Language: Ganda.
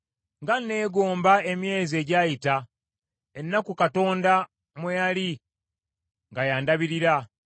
“Nga nneegomba emyezi egyayita, ennaku Katonda mwe yali nga y’andabirira,